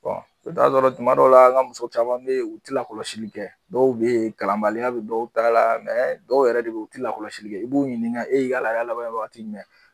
i bɛ sɔrɔ tuma dɔw la an ka muso caman bɛ ye u tɛ lakɔlɔsili kɛ dɔw bɛ ye kalanbaliya bɛ dɔw ta la dɔw yɛrɛ de bɛ ye u tɛ lakɔlɔsi kɛ i b'u ɲininka e yala labanna wakati jumɛn?